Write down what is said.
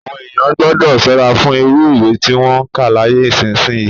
Àwọn èèyàn gbọ́dọ̀ ṣọ́ra fún irú ìwé tí wọn ń kà láyé ìsinsìnyí